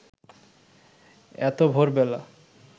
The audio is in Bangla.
এত ভোরবেলা